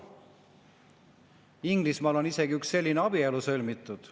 Inglismaal on isegi üks selline abielu sõlmitud.